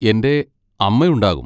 എന്റെ അമ്മ ഉണ്ടാകും.